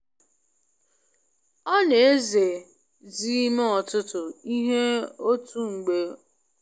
O na eze zi ime ọtụtụ ihe otu mgbe ugbu a i ji gbochie mgbanwoju anya n’uche ya um n’ime ụbọchị.